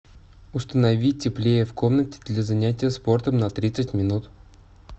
установи теплее в комнате для занятия спортом на тридцать минут